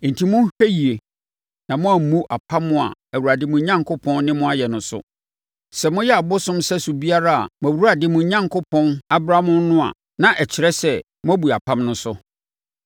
Enti, monhwɛ yie na moammu apam a Awurade, mo Onyankopɔn, ne mo ayɛ no so. Sɛ moyɛ abosom sɛso biara a mo Awurade mo Onyankopɔn abra mo no a, na ɛkyerɛ sɛ, moabu apam no so.